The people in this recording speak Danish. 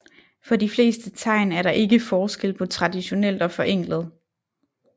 For de fleste tegn er der ikke forskel på traditionelt og forenklet